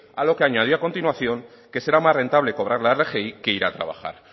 a lo que añadía a continuación que será más rentable cobrar la rgi que ir a trabajar